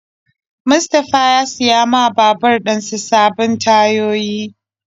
Mustapha ya siya ma babur dinsa sabbin tayoyi.